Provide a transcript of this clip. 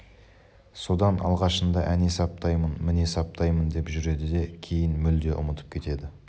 содан алғашында әне саптаймын міне саптаймын деп жүреді де кейін мүлде ұмытып кетеді